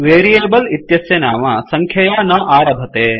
variable इत्यस्य नाम सङ्ख्यया न आरभते